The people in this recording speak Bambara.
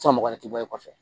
San mɔgɔ wɛrɛ ti bɔ i kɔfɛ